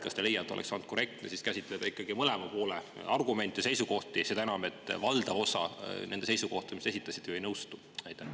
Kas te ei leia, et oleks olnud korrektne käsitleda ikkagi mõlema poole argumente ja seisukohti, seda enam, et valdav osa nende seisukohtadega, mida te esitasite, ju ei nõustu?